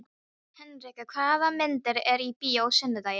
Henrika, hvaða myndir eru í bíó á sunnudaginn?